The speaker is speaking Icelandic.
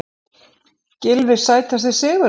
Gylfi Sætasti sigurinn?